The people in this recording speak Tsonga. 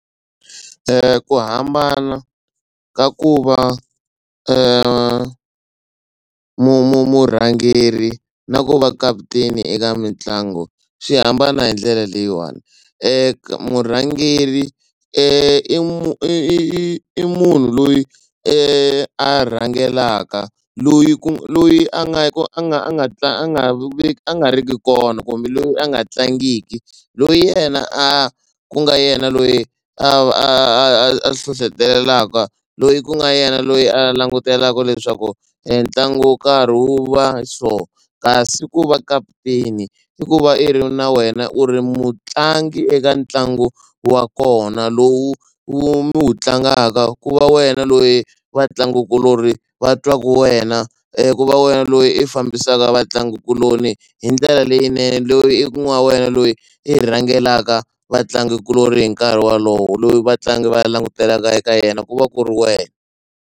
Ku hambana ka ku va mu mu murhangeri na ku va kaputeni eka mitlangu swi hambana hi ndlela leyiwani murhangeri i mu i i i i munhu loyi a rhangelaka loyi ku loyi a nga ka a nga a nga a nga vi a nga riki kona kumbe loyi a nga tlangiki loyi yena a ku nga yena loyi a a a a hlohletelaka loyi ku nga yena loyi a langutelaka leswaku ntlangu wo karhi wu va so kasi ku va kaputeni i ku va i ri na wena u ri mutlangi eka ntlangu wa kona lowu wu mi wu tlangaka ku va wena loyi vatlangikuloni va twaku wena ku va wena loyi i fambisaka vatlangikuloni hi ndlela leyinene. Loyi ku nga wena loyi i rhangelaka vatlangikuloni hi nkarhi wolowo loyi vatlangi va langutelaka eka yena ku va ku ri wena.